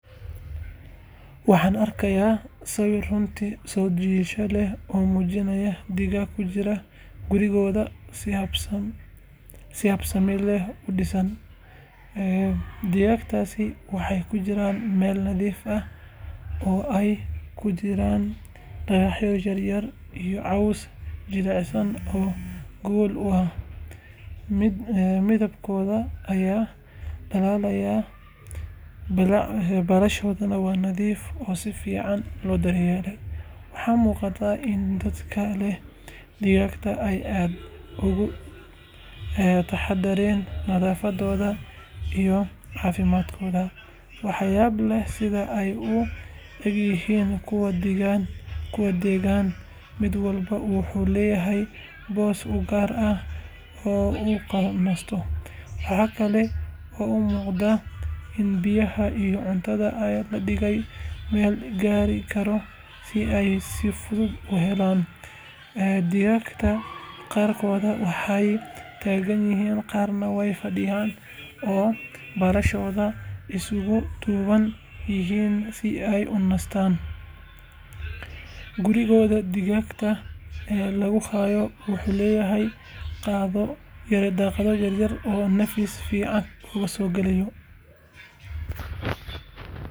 Waxaan arkay sawir runtii soo jiidasho leh oo muujinaya digaag ku jira gurigooda si habsami leh u dhisan. Digaaggaas waxay ku jiraan meel nadiif ah oo ay ku jiraan dhagaxyo yar yar iyo caws jilicsan oo gogol u ah. Midabkooda ayaa dhalaalaya, baalashooda waa nadiif oo si fiican loo daryeelay. Waxaa muuqata in dadka leh digaaggani ay aad uga taxadaraan nadaafaddooda iyo caafimaadkooda. Waxaa yaab leh sida ay u ekaayeen kuwo deggan, mid walba wuxuu leeyahay boos u gaar ah oo uu ku nasto. Waxa kale oo muuqata in biyaha iyo cuntada la dhigay meel la gaari karo si ay si fudud u helaan. Digaagga qaarkood waxay taagan yihiin, qaarna way fadhiyan oo baalashooda isugu duuban yihiin si ay u nastaan. Guriga digaagga lagu hayo wuxuu leeyahay daaqado yaryar oo neefsi fiican u oggolaanaya.